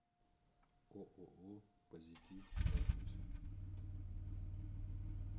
ооо позитив адрес